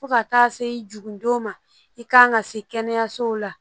Fo ka taa se i jigin don ma i kan ka se kɛnɛyasow la